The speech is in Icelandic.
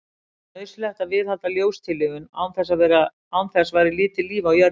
Það er nauðsynlegt að viðhalda ljóstillífun, án þess væri lítið líf á jörðinni.